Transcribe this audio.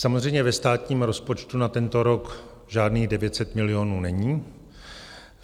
Samozřejmě, ve státním rozpočtu na tento rok žádných 900 milionů není.